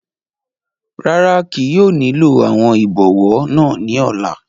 Rara, kii yóò nilo awọn ibọwọ naa ni ọla